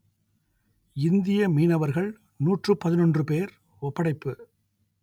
இந்திய மீனவர்கள் நூற்று பதினொன்று பேர் ஒப்படைப்பு